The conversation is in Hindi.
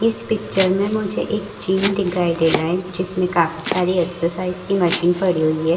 इस पिक्चर में मुझे एक जिम दिखाई दे रहा है जिसमें काफी सारी एक्सरसाइज की मशीन पड़ी हुई है ।